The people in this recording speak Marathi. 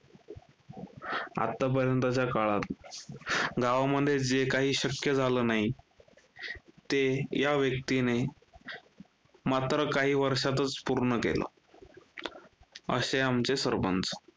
आत्तापर्यंतच्या काळात गावामध्ये जे काही शक्य झालं नाही, ते या व्यक्तीने मात्र काही वर्षातच पूर्ण केलं असे आमचे सरपंच.